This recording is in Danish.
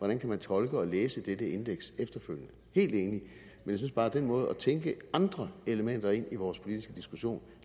man kan tolke og læse dette indeks efterfølgende helt enig men den måde at tænke andre elementer ind i vores politiske diskussion